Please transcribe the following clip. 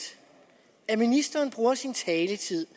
at ministeren bruger sin taletid